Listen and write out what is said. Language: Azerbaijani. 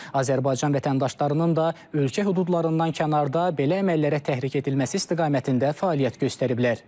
Azərbaycan vətəndaşlarının da ölkə hüdudlarından kənarda belə əməllərə təhrik edilməsi istiqamətində fəaliyyət göstəriblər.